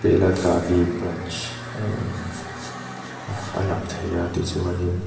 belagavi branch a a in a a lang thei a tichuanin --